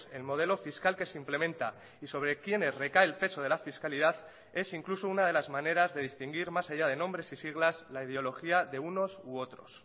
el modelo fiscal que se implementa y sobre quienes recae el peso de la fiscalidad es incluso una de las maneras de distinguir más allá de nombres y siglas la ideología de unos u otros